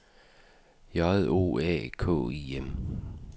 J O A K I M